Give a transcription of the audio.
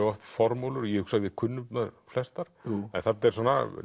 oft formúlur ég hugsa að við kunnum þær flestar en þarna er